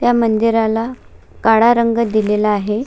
मंदिराला काळा रंग दिलेला आहे.